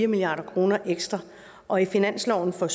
milliard kroner ekstra og i finansloven for